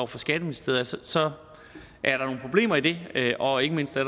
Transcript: fra skatteministeriet så så er der nogle problemer i det og ikke mindst er